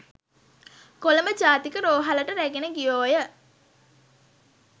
කොළඹ ජාතික රෝහලට රැගෙන ගියෝය